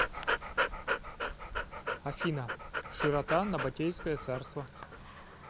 афина широта набатейское царство